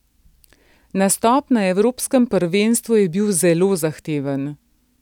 Nastop na evropskem prvenstvu je bil zelo zahteven.